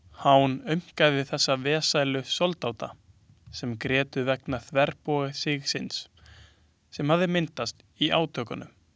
Hán aumkaði þessa vesælu soldáta sem grétu vegna þverbogasigsins sem hafði myndast í átökunum.